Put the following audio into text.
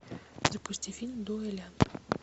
запусти фильм дуэлянт